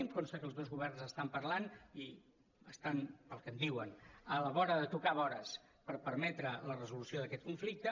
em consta que els dos governs estan parlant i estan pel que em diuen a la vora de tocar vores per permetre la resolució d’aquest conflicte